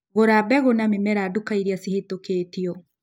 Gũra mbegu na mĩmera duka iria cihĩtũkĩtio.